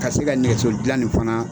Ka se ka nɛgɛso dilan nin fana